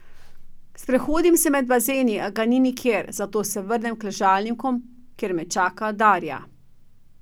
Sprehodim se med bazeni, a ga ni nikjer, zato se vrnem k ležalnikom, kjer me čaka Darja.